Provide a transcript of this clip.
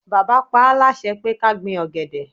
Bàbá paá láṣẹ pé ká gbin ọ̀gẹ̀dẹ̀